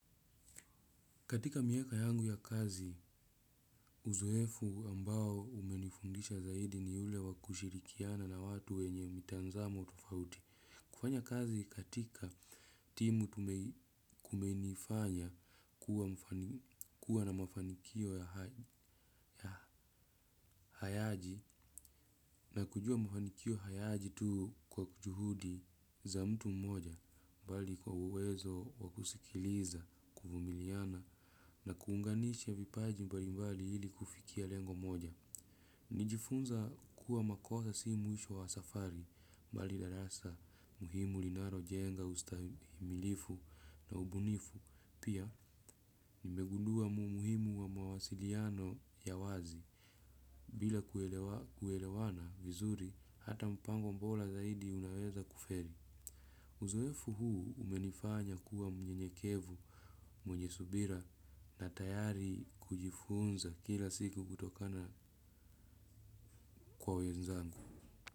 Katika miaka yangu ya kazi, uzoefu ambao umenifundisha zaidi ni ule wa kushirikiana na watu wenye mitazamo tofauti. Kufanya kazi katika timu kumenifanya kuwa na mafanikio ya hayaji na kujua mafanikio hayaji tu kwa kujuhudi za mtu mmoja mbali kwa uwezo wakusikiliza kuvumiliana na kuunganisha vipaji mbali mbali ili kufikia lengo moja. Nilijifunza kuwa makosa si mwisho wa safari, mbali darasa muhimu linalojenga ustahimilifu na ubunifu, pia nimegundua umuhimu wa mawasiliano ya wazi, bila kuelewana vizuri hata mpango bora zaidi unaweza kufeli. Uzoefu huu umenifanya kuwa mnyenyekevu mwenye subira na tayari kujifunza kila siku kutokana kwa wenzangu.